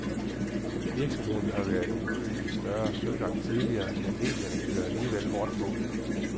Virksomheden har været ude i større søgang tidligere, men medierne kører alligevel hårdt på.